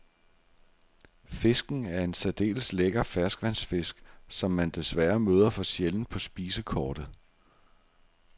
Fisken er en særdeles lækker ferskvandsfisk, som man desværre møder for sjældent på spisekortet.